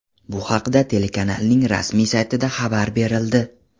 Bu haqda telekanalning rasmiy saytida xabar berildi .